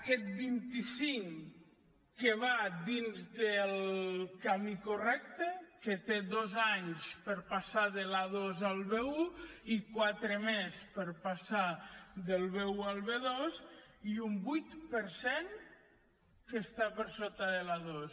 aquest vint cinc que va dins del camí correcte que té dos anys per passar de l’a2 al b1 i quatre més per passar del b1 al b2 i un vuit per cent que està per sota de l’a2